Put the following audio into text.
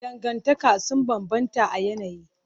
Dangantaka sun bambanta a yanayi.